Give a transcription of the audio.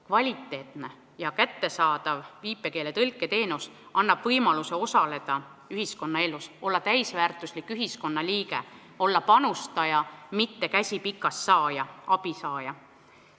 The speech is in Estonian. Kvaliteetne ja kättesaadav viipekeeletõlke teenus annab võimaluse osaleda ühiskonnaelus, olla täisväärtuslik ühiskonnaliige, olla panustaja, mitte käsi pikal abipaluja.